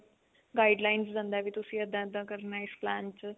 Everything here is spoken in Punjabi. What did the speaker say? guidelines ਦਿੰਦਾ ਵੀ ਤੁਸੀਂ ਏਦਾਂ ਏਦਾਂ ਕਰਨਾ ਇਸ plan ਚ